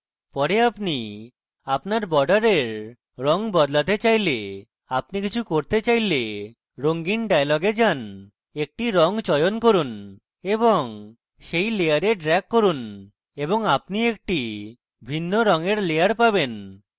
পরে আপনি আপনার বর্ডারের রঙ বদলাতে চাইলে আপনি কিছু করতে চাইলে রঙিন dialog যান একটি রঙ চয়ন করুন এবং সেই layer drag করুন এবং আপনি একটি ভিন্ন রঙের layer পাবেন